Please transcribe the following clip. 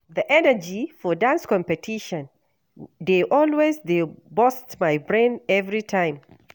The energy for dance competition dey always dey burst my brain every time.